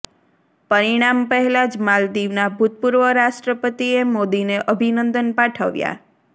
પરિણામ પહેલાં જ માલદીવના ભૂતપૂર્વ રાષ્ટ્રપતિએ મોદીને અભિનંદન પાઠવ્યાં